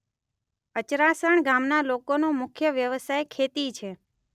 અચરાસણ ગામના લોકોનો મુખ્ય વ્યવસાય ખેતી છે.